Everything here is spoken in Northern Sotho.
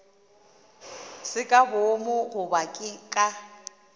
se ka boomo goba ka